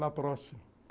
Lá próximo.